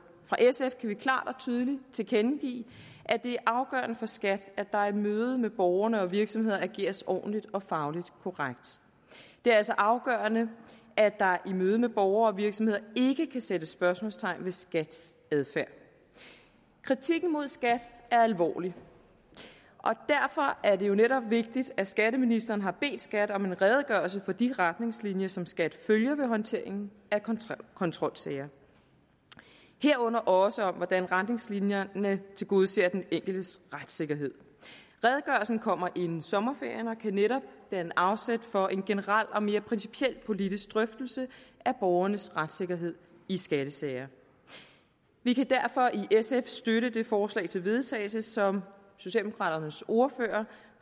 fra sf kan vi klart og tydeligt tilkendegive at det er afgørende for skat at der i mødet med borgere og virksomheder ageres ordentligt og fagligt korrekt det er altså afgørende at der i mødet med borgere og virksomheder ikke kan sættes spørgsmålstegn ved skats adfærd kritikken mod skat er alvorlig og derfor er det jo netop vigtigt at skatteministeren har bedt skat om en redegørelse for de retningslinjer som skat følger ved håndteringen af kontrolsager herunder også om hvordan retningslinjerne tilgodeser den enkeltes retssikkerhed redegørelsen kommer inden sommerferien og kan netop danne afsæt for en generel og mere principiel politisk drøftelse af borgernes retssikkerhed i skattesager vi kan derfor i sf støtte det forslag til vedtagelse som socialdemokraternes ordfører